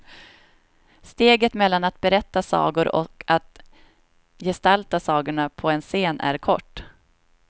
Steget mellan att berätta sagor och att gestalta sagorna på en scen är kort.